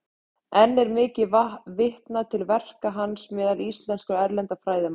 Enn er mikið vitnað til verka hans meðal íslenskra og erlendra fræðimanna.